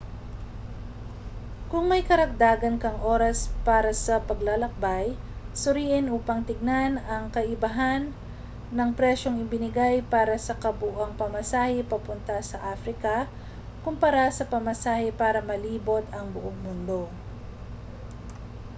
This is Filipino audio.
kung may karagdagan kang oras para sa paglalakbay suriin upang tingnan ang kaibahan ng presyong ibinigay para sa kabuuang pamasahe papunta sa africa kumpara sa pamasahe para malibot ang buong mundo